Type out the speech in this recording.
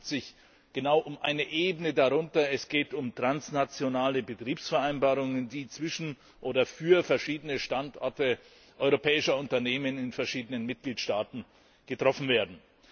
Es handelt sich genau um die Ebene darunter Es geht um transnationale Betriebsvereinbarungen, die zwischen verschiedenen Standorten europäischer Unternehmen in verschiedenen Mitgliedstaaten oder für sie getroffen werden.